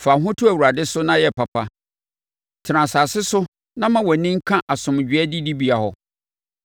Fa wo ho to Awurade so na yɛ papa. Tena asase no so na ma wʼani nka asomdwoeɛ adidibea hɔ.